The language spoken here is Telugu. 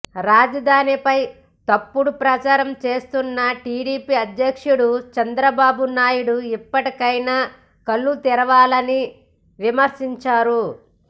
రాజధానిపై తప్పుడు ప్రచారం చేస్తున్న టీడీపీ అధ్యక్షుడు చంద్రబాబు నాయుడు ఇప్పటికైనా కళ్లు తెరవాలని విమర్శించారు